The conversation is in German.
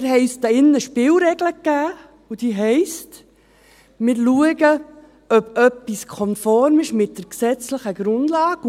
Wir haben uns hier in diesem Saal eine Spielregel gegeben, und diese heisst: Wir schauen, ob etwas konform ist mit der gesetzlichen Grundlage.